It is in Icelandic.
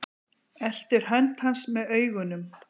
Eltir hönd hans með augunum.